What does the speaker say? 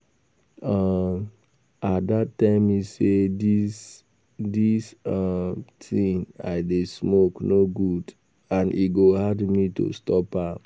um Ada tell me say dis dis um thing I dey smoke no good and e go hard me to stop am